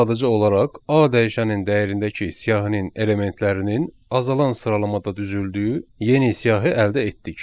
Biz sadəcə olaraq A dəyişənin dəyərindəki siyahının elementlərinin azalan sıralamada düzüldüyü yeni siyahı əldə etdik.